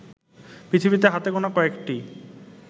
পৃথিবীতে হাতে গোনা কয়েকটি